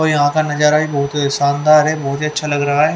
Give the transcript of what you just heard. और यहां का नजारा भी बहुत शानदार है बहुत ही अच्छा लग रहा है।